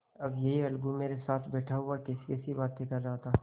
अभी यह अलगू मेरे साथ बैठा हुआ कैसीकैसी बातें कर रहा था